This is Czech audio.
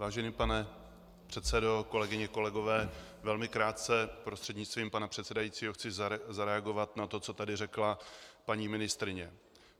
Vážený pane předsedo, kolegyně, kolegové, velmi krátce prostřednictvím pana předsedajícího chci zareagovat na to, co tady řekla paní ministryně.